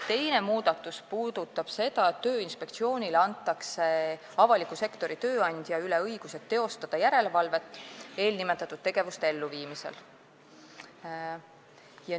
Teine muudatus puudutab seda, et Tööinspektsioonile antakse õigus teha järelevalvet avaliku sektori tööandja üle eelnimetatud tegevuste elluviimisel.